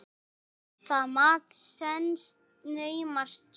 Það mat stenst naumast skoðun.